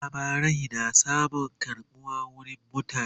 labarai na samun karbuwa wurin mutane